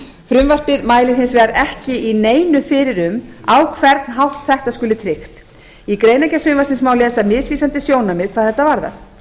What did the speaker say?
frumvarpið mælir hins vegar ekki í neinu fyrir um á hvern hátt þetta skuli tryggt í greinargerð frumvarpsins má lesa misvísandi sjónarmið hvað þetta varðar